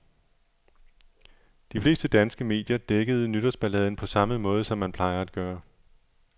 De fleste danske medier dækkede nytårsballaden på samme måde, som man plejer at gøre.